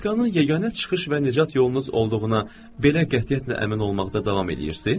Ruletkanın yeganə çıxış və nicat yolunuz olduğuna belə qətiyyətlə əmin olmaqda davam eləyirsiz?